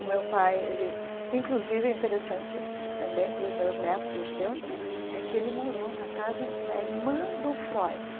O meu pai, ele inclusive é interessante também para os meus netos e os teus, é que ele morou na casa da irmã do Freud.